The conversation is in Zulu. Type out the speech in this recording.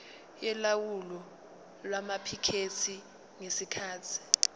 yolawulo lwamaphikethi ngesikhathi